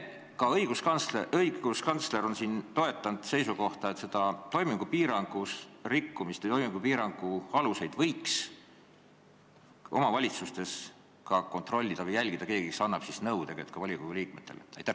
Ja teiseks: ka õiguskantsler on toetanud seisukohta, et nende toimingupiirangute järgimist võiks omavalitsustes keegi jälgida ja kui vaja, volikogu liikmetele ka nõu anda.